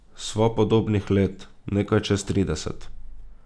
Sva podobnih let, nekaj čez trideset.